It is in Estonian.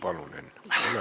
Ole hea!